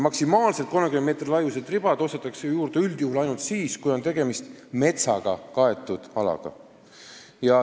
Maksimaalselt 30 meetri laiused ribad ostetakse juurde üldjuhul ainult siis, kui on tegemist metsaga kaetud alaga.